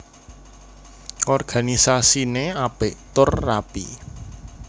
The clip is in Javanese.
Organisasiné apik tur rapi